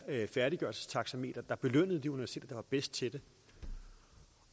færdiggørelsestaxameter der belønnede de universiteter der var bedst til det